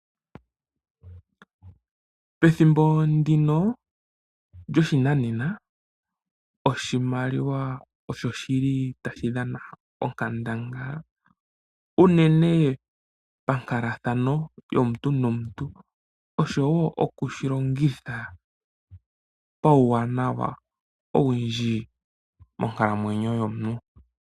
Pethimbo ndino lyoshinanena oshimaliwa osho shili tashi dhana onkandangala unene pankalathano yomuntu nomuntu , oshowoo okushilongitha pauwanawa owundji monkalamwenyo yomuntu.